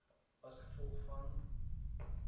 as gevolg van